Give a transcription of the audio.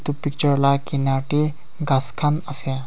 etu picture laga kiner te gass khan ase.